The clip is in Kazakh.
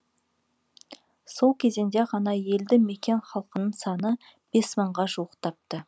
сол кезеңде ғана елді мекен халқының саны бес мыңға жуықтапты